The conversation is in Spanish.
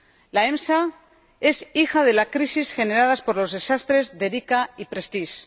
La EMSA es hija de las crisis generadas por los desastres del Erika y el Prestige.